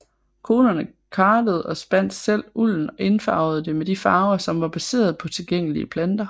Konerne kartede og spandt selv ulden og indfarvede det med de farver som var baseret på tilgængelige planter